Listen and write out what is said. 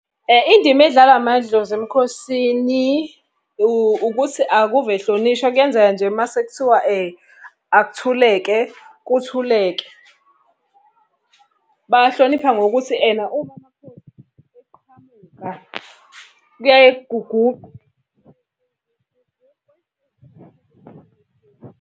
Indima edlalwa amadlozi emkhosini, ukuthi akuve ehlonishwa, kuyenzeka nje uma sekuthiwa akuthuleke, kuthuleke. Bawahlonipha ngokuthi ena, uma amakhosi eqhamuka kuyaye .